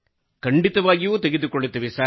ಖಂಡಿತವಾಗಿಯೂ ತೆಗೆದುಕೊಳ್ಳುತ್ತೇವೆ ಸರ್